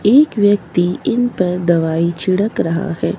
एक व्यक्ति इन पर दवाई छिड़क रहा है।